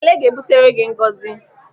Ekele ga-ebutere gị ngọzi.